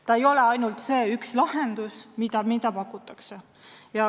See ei ole ainult see üks lahendus, mida pakutakse.